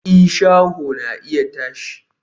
i, shaho na iya tashi